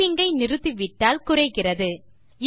typing ஐ நிறுத்திவிட்டால் குறைகிறது